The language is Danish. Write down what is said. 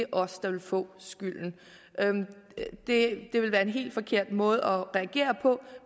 os der vil få skylden det vil være en helt forkert måde at reagere på